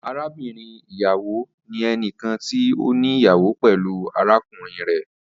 Arabinrin iyawo ni ẹnikan ti o ni iyawo pẹlu arakunrin rẹ.